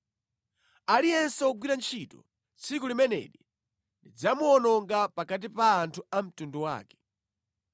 Aliyense wogwira ntchito tsiku limeneli ndidzamuwononga pakati pa anthu a mtundu wake.